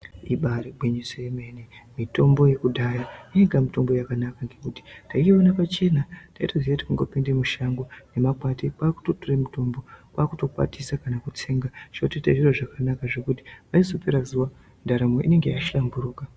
Ibaari gwinyiso yemene, mitombo yekudhaya yainga mitombo yakanaka, ngekuti taiona pachena. Taitoziye kuti kungopinde mushango nemakwati kwaakutotore mitombo, kwaakutokwatisa kana kutsenga zvotoite zviro zvakanaka, zvekuti paizopera zuwa ,ndaramo inenge yashamburuka.